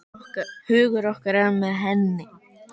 Hugur okkar er með henni.